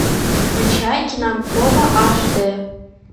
включай кинопроба аш дэ